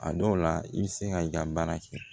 A dɔw la i bɛ se ka i ka baara kɛ